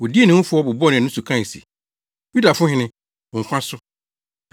Wodii ne ho fɛw, bobɔɔ nʼani so kae se, “Yudafo hene, wo nkwa so!”